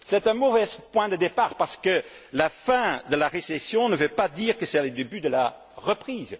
C'est un mauvais point de départ, parce que la fin de la récession ne veut pas dire que c'est le début de la reprise.